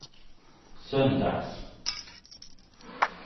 söndags